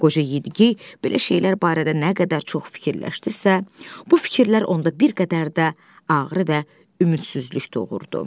Qoca Yedi-gey belə şeylər barədə nə qədər çox fikirləşdisə, bu fikirlər onda bir qədər də ağrı və ümidsizlik doğurdu.